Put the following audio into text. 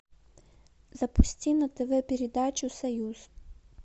запусти на тв передачу союз